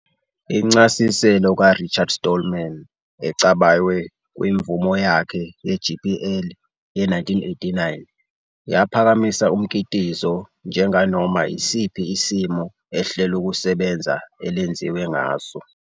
Incasiselo kaRichard Stallman, ecabaywe kwimvume yakhe ye-GPL ye-1989, yaphakamisa umkitizo njenganoma isiphi isimo ihlelokusebenza elenziwe ngaso.